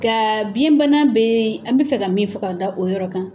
Kaa biyɛn bana bee an be fɛ ka min fɔ k'a da o yɔrɔ kan